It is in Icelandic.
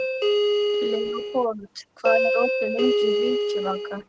Leópold, hvað er opið lengi í Vikivaka?